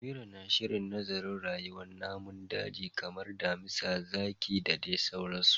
Amira na shirin nazarin rayuwar namun daji kamar damisa, zaki da dai sauransu